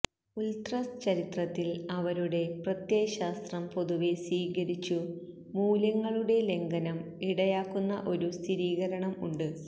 ഉല്ത്രസ് ചരിത്രത്തിൽ അവരുടെ പ്രത്യയശാസ്ത്രം പൊതുവെ സ്വീകരിച്ചു മൂല്യങ്ങളുടെ ലംഘനം ഇടയാക്കുന്ന ഒരു സ്ഥിരീകരണം ഉണ്ട്